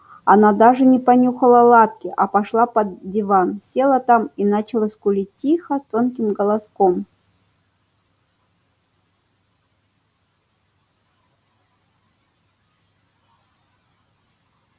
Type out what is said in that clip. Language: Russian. она даже не понюхала лапки а пошла под диван села там и начала скулить тихо тонким голоском